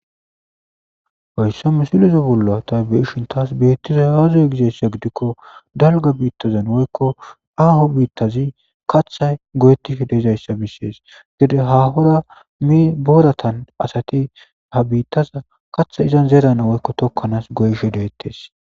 Hayisan misileta bolla ta be'ishin tas betizays aze giiko daliga woyiko kehi aho bitazan kathay goyetish dizayisa beses gede hahora borata asati kathaza zeranaw woyiko tokanas goyishe detes